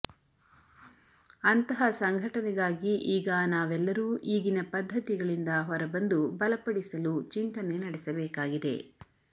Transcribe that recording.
ಅಂತಹ ಸಂಘಟನೆಗಾಗಿ ಈಗ ನಾವೆಲ್ಲರೂ ಈಗಿನ ಪದ್ದತಿಗಳಿಂದ ಹೊರಬಂದು ಬಲ ಪಡಿಸಲು ಚಿಂತನೆ ನಡೆಸಬೇಕಾಗಿದೆ